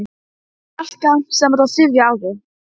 Salka, sem var á þriðja ári.